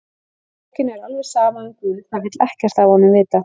Fólkinu er alveg sama um Guð, það vill ekkert af honum vita.